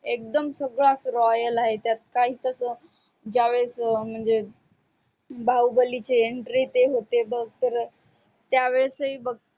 एकदम सुरवात royal आहे त्यात काहीच अस ज्या वेळेस म्हणजे बाहुबलीची entry ते होते तेव्हा तर त्या वेळेसही बग